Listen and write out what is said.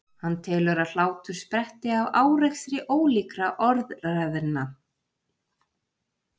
Hann telur að hlátur spretti af árekstri ólíkra orðræðna.